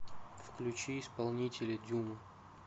включи исполнителя дюна